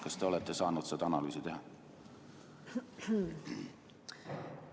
Kas te olete saanud sellist analüüsi teha?